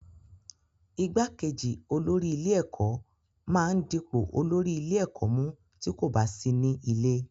Igbákejì olórí ilé-ẹ̀kọ́ máa ń dipò olórí ilé-ẹ̀kọ́ mú tí kò bá sí ní ilé.